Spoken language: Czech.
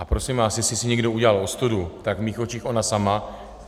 A prosím vás, jestli si někdo udělal ostudu, tak v mých očích ona sama.